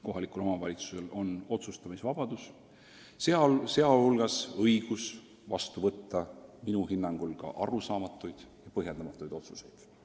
Kohalikul omavalitsusel on otsustamisvabadus, sh õigus vastu võtta minu hinnangul arusaamatuid ja põhjendamatuid otsuseid.